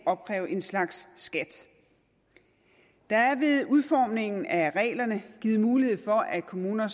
opkræve en slags skat der er ved udformningen af reglerne givet mulighed for at kommuner